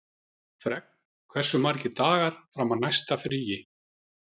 Fregn, hversu margir dagar fram að næsta fríi?